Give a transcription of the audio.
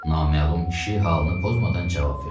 Naməlum kişi halını pozmadan cavab verdi.